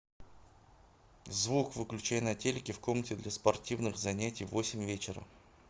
звук выключай на телике в комнате для спортивных занятий в восемь вечера